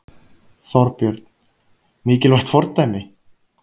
Þorbjörn: Mikilvægt fordæmi?